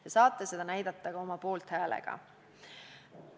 Te saate seda näidata ka oma poolthäälega.